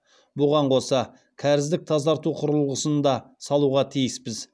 бұған қоса кәріздік тазарту құрылғысын да салуға тиіспіз